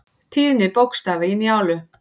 Tíðni bókstafa í Njálu.